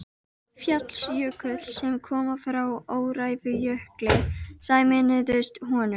Fjallsjökull, sem koma frá Öræfajökli, sameinuðust honum.